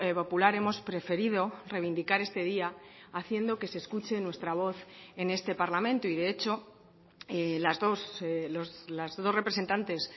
popular hemos preferido reivindicar este día haciendo que se escuche nuestra voz en este parlamento y de hecho las dos representantes